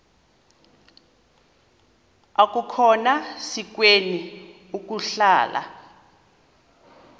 akukhona sikweni ukuhlala